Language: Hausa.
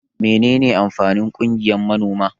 Mene ne amfanin ƙungiyan manoma?